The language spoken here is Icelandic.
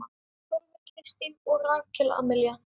Sólveig Kristín og Rakel Amelía.